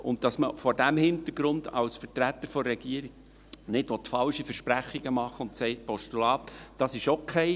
Und dass man vor diesem Hintergrund als Vertreter der Regierung keine falschen Versprechungen machen will und sagt: «Ein Postulat ist okay» …